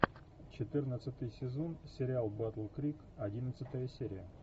четырнадцатый сезон сериал батл крик одиннадцатая серия